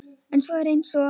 Þetta er svona eins og.